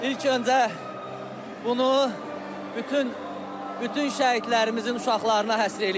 İlk öncə bunu bütün bütün şəhidlərimizin uşaqlarına həsr eləyirik.